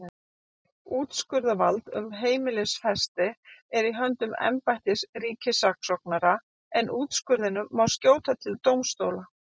Úrskurðarvald um heimilisfesti er í höndum embættis ríkisskattstjóra en úrskurðinum má skjóta til dómstóla.